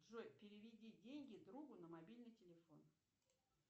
джой переведи деньги другу на мобильный телефон